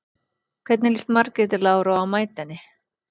Hvernig líst Margréti Láru á að mæta henni?